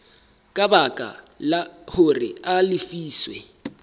ka baka hore a lefiswe